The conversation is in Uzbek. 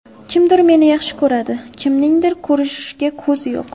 Kimdir meni yaxshi ko‘radi, kimningdir ko‘rishga ko‘zi yo‘q.